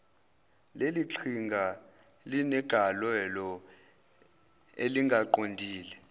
leliqhinga linegalelo elingaqondile